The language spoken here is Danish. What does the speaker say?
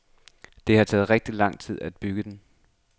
Det har taget rigtig lang tid at bygge den.